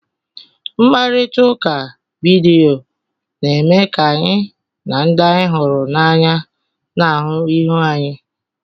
Mkparịta ụka vidiyo na-eme ka anyị na ndị anyị hụrụ n'anya na-ahụ ihu anyi.